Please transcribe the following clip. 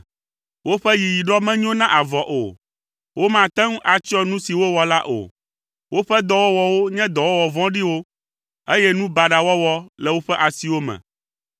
Woƒe yiyiɖɔ menyo na avɔ o. Womate ŋu atsyɔ nu si wowɔ la o. Woƒe dɔwɔwɔwo nye dɔwɔwɔ vɔ̃ɖiwo, eye nu baɖa wɔwɔ le woƒe asiwo me.